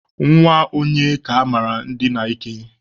Nwa onye ka emere ndina ike?